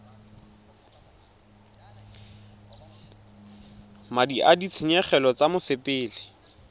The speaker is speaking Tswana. madi a ditshenyegelo tsa mosepele